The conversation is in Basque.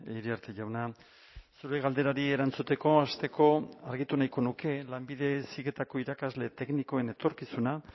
iriarte jauna zure galderari erantzuteko hasteko argitu nahiko nuke lanbide heziketako irakasle teknikoen etorkizuna